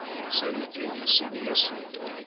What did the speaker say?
soviet union cpsu